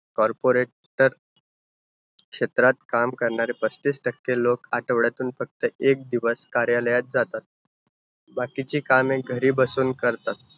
Corporator क्षेत्रात काम करणारे बत्तीस टक्के लोकं आठवड्यातून फक्त एक दिवस कार्यालयात जातात बाकीची कामे घरी बसून करतात.